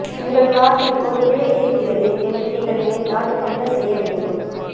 உங்கள் காதில் ஒரு பிழை இருக்கிறது என்று நீங்கள் நினைத்தால் என்ன செய்ய வேண்டும்